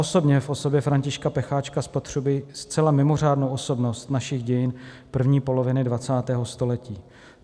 Osobně v osobě Františka Pecháčka spatřuji zcela mimořádnou osobnost našich dějin první poloviny 20. století.